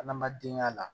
Adamaden ka la